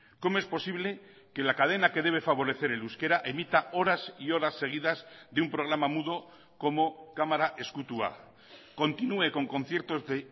cómo es posible que la cadena que debe favorecer el euskera emita horas y horas seguidas de un programa mudo como kamara ezkutua continúe con conciertos de